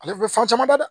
Ale bɛ fɛn caman da dɛ